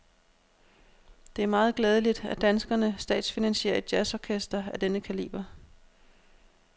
Det er meget glædeligt, at danskerne statsfinansierer et jazzorkester af denne kaliber.